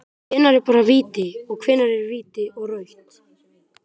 Hvenær er bara víti, og hvenær er víti og rautt??